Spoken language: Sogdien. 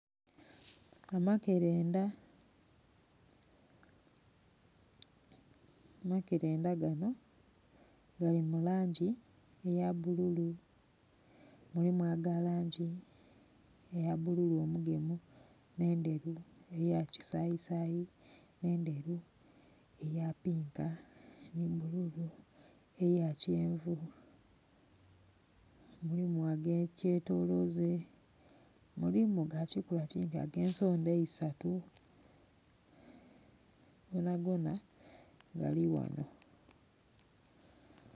Amakerenda amakerenda gano gali mu langi eya bululu mulimu aga langi eya bululu omugemu nendheru, eya kisayisayi eya pinka ni bululu, eya kyenvu. Mulimu agekyetoloze, mulimu gakikula kingi agensondha eisatu gongona galighano.